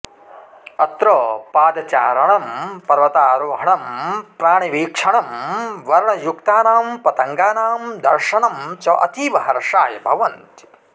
अत्र पादचारणं पर्वतारोहणं प्राणिवीक्षणं वर्णयुक्तानां पतङ्गानां दर्शनं च अतीव हर्षाय भवन्ति